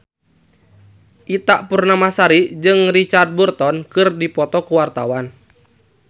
Ita Purnamasari jeung Richard Burton keur dipoto ku wartawan